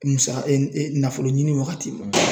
Musa nafolo ɲini wagati ma